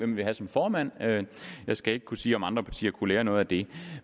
vi vil have som formand jeg skal ikke kunne sige om andre partier kunne lære noget af det